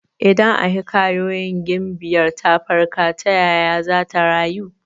Idan a hikayoyin gimbiyar ta farka, ta yaya zata rayu?